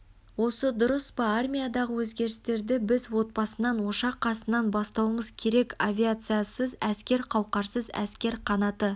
осы дұрыс па армиядағы өзгерістерді біз отбасынан ошақ қасынан бастауымыз керек авиациясыз әскер қауқарсыз әскер қанаты